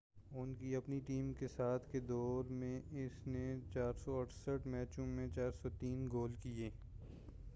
ان کی اپنی ٹیم کے ساتھ کے دور میں اس نے 468 میچوں میں 403 گول کیے